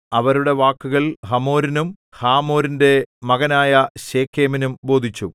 അവരുടെ വാക്കുകൾ ഹമോരിനും ഹാമോരിന്റെ മകനായ ശെഖേമിനും ബോധിച്ചു